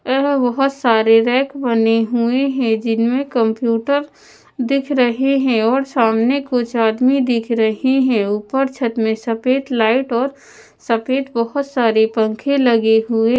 यहां बहोत सारे रैक बने हुए हैं जिनमें कंप्यूटर दिख रहे हैं और सामने कुछ आदमी दिख रहे है ऊपर छत में सफेद लाइट और सफेद बहोत सारे पंखे लगे हुए --